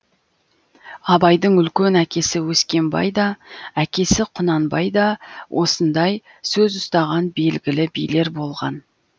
абайдың үлкен әкесі өскенбай да әкесі құнанбай да осындай сөз ұстаған белгілі билер болған